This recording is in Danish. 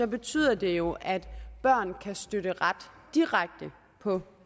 betyder det jo at børn kan støtte ret direkte på